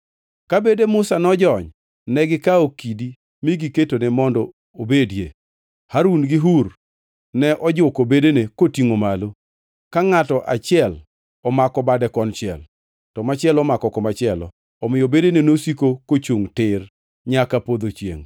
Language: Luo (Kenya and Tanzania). Ka bede Musa nojony, to negikawo kidi mi giketone mondo obedie. Harun gi Hur ne ojuko bedene kotingʼo malo, ka ngʼato achiel omako bade konchiel, to machielo omako komachielo, omiyo bedene nosiko kochungʼ tir nyaka podho chiengʼ.